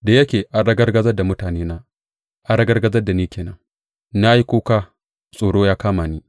Da yake an ragargazar da mutanena, an ragargaza ni ke nan; na yi kuka, tsoro ya kama ni.